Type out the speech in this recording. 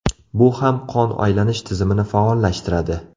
Bu ham qon aylanish tizimini faollashtiradi.